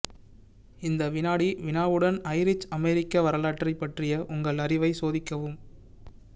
இந்த வினாடி வினாவுடன் ஐரிஷ் அமெரிக்க வரலாற்றைப் பற்றிய உங்கள் அறிவை சோதிக்கவும்